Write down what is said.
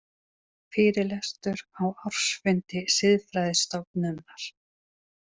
Fyrirlestur á ársfundi Siðfræðistofnunar.